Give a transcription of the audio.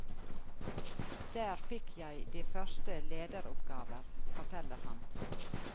Der fikk jeg de første lederoppgaver, forteller han.